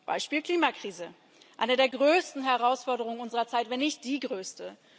Beispiel Klimakrise eine der größten Herausforderungen unserer Zeit, wenn nicht die größte.